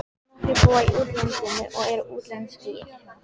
Nokkrir búa í útlandinu og eru útlenskir.